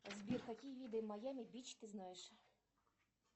сбер какие виды маями бич ты знаешь